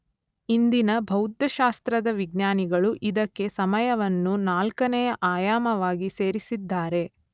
ಇಂದಿನ ಭೌತಶಾಸ್ತ್ರದ ವಿಜ್ಞಾನಿಗಳು ಇದಕ್ಕೆ ಸಮಯವನ್ನು ನಾಲ್ಕನೆ ಆಯಾಮವಾಗಿ ಸೇರಿಸಿದ್ದಾರೆ.